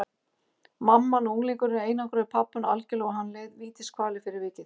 Mamman og unglingurinn einangruðu pabbann algjörlega og hann leið vítiskvalir fyrir vikið.